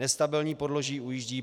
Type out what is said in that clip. Nestabilní podloží ujíždí.